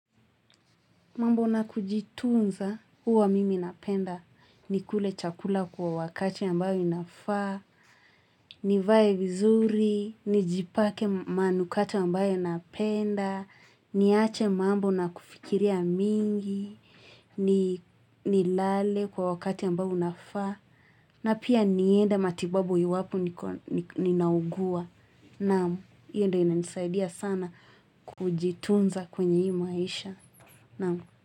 Mambo na kujitunza uwa mimi napenda ni kule chakula kwa wakati ambayo inafaa, nivae vizuri, ni jipake manukato ambayo napenda, niache mambo na kufikiria mingi, ni lale kwa wakati ambayo unafaa, na pia ni henda matibabu iwapo ninaugua. Namu, hiyo ndo ina nisaidia sana kujitunza kwenye hii maisha. Na.